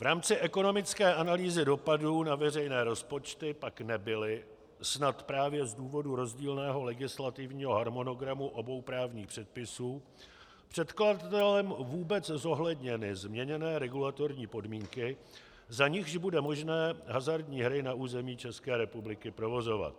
V rámci ekonomické analýzy dopadů na veřejné rozpočty pak nebyly snad právě z důvodu rozdílného legislativního harmonogramu obou právních předpisů předkladatelem vůbec zohledněny změněné regulatorní podmínky, za nichž bude možné hazardní hry na území České republiky provozovat.